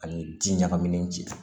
Ani ji ɲagaminen ji la